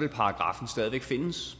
vil paragraffen stadig væk findes